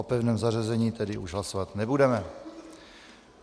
O pevném zařazení tedy už hlasovat nebudeme.